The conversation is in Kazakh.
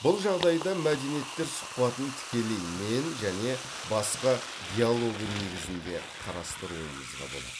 бұл жағдайда мәдениеттер сұхбатын тікелей мен және басқа диалогы негізінде қарастыруымызға болады